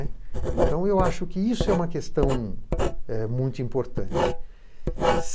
Então eu acho que isso é uma questão eh muito importante.